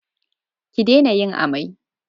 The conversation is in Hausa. Ki dena yin amai!